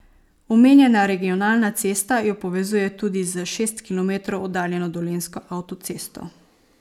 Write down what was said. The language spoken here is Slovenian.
Omenjena regionalna cesta jo povezuje tudi s šest kilometrov oddaljeno dolenjsko avtocesto.